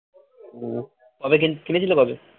তবে কিনেছিলো কবে